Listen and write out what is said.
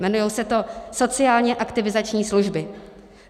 Jmenuje se to sociálně aktivizační služby.